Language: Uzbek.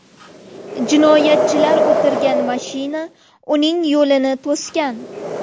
Jinoyatchilar o‘tirgan mashina uning yo‘lini to‘sgan.